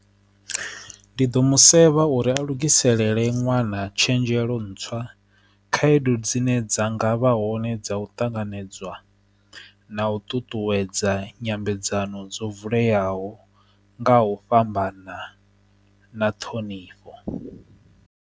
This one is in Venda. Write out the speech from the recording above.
Ndi ḓo musevhetho uri a lugisela lele ṅwana tshenzhelo ntswa khaedu dzine dza ngavha hone dza u ṱanganedzwa na u ṱuṱuwedza nyambedzano dzo vuleyaho nga u fhambana na ṱhonifho.